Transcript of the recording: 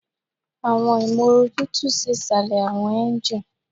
Awọn imooru tutu si isalẹ awọn engine